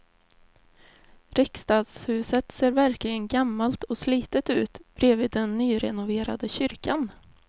Riksdagshuset ser verkligen gammalt och slitet ut bredvid den nyrenoverade kyrkan.